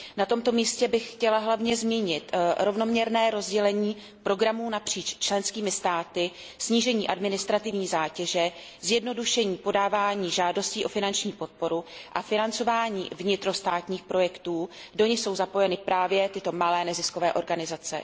Na tomto místě bych chtěla hlavně zmínit rovnoměrné rozdělení programů napříč členskými státy, snížení administrativní zátěže, zjednodušení podávání žádostí o finanční podporu a financování vnitrostátních projektů, do nichž jsou zapojeny právě tyto malé neziskové organizace.